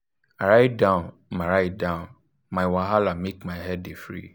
i write down my write down my wahala make my head dey free.